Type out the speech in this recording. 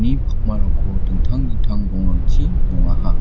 pakmarangko dingtang dingtang rongrangchi nongaha.